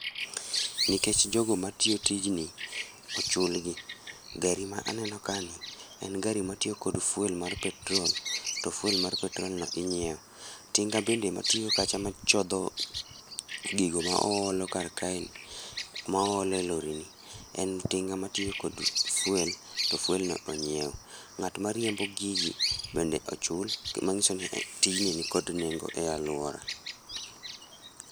Nikech jogo matiyo tijni, ochulgi. Gari ma aneno ka ni, en gari matiyo kod fuel mar petrol, to fuel mar petrolno inyiew. Tinga bende matiyo kacha machodho gigi maoolo kar kae ni, maolo e lorini, en tinga matiyo kod fuel, to fuel no onyiew. Ng'at mariembo gigi bende ochul. Gi manyiso tijni ni kod nego e aluora.